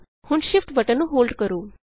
ਹੁਣ Shift button ਨੂੰ hold ਕਰੋ